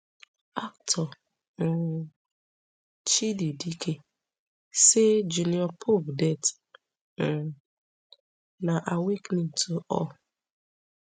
actor um chidi dike say junior pope death um na awakening to all